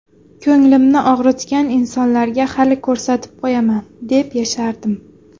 Ko‘nglimni og‘ritgan insonlarga hali ko‘rsatib qo‘yaman deb yashardim.